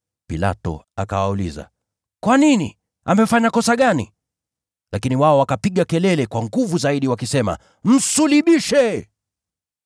Pilato akawauliza, “Kwa nini? Amefanya kosa gani?” Lakini wao wakapiga kelele kwa nguvu zaidi, wakisema, “Msulubishe!”